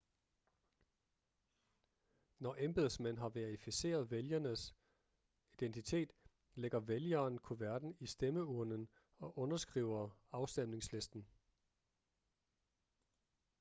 når embedsmænd har verificeret vælgerens identitet lægger vælgeren kuverten i stemmeurnen og underskriver afstemningslisten